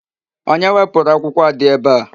Onye wepụrụ akwụkwọ a dị ebe a?